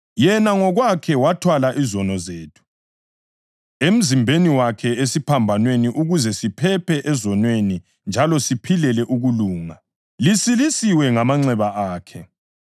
“Yena ngokwakhe wathwala izono zethu” + 2.24 U-Isaya 53.5 emzimbeni wakhe esiphambanweni ukuze siphephe ezonweni njalo siphilele ukulunga; “lisilisiwe ngamanxeba akhe.” + 2.24 U-Isaya 53.5